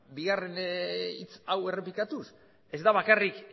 bigarren hitz hau errepikatuz ez da bakarrik